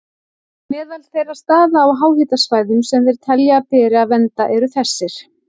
Meðal þeirra staða á háhitasvæðum sem þeir telja að beri að vernda eru þessir